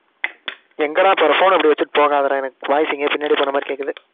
எங்கடா போற phone ன இப்படி வச்சிட்டு போகாதடா. எனக்கு voice எங்கேயோ பின்னாடி போன மாதிரி கேக்குது.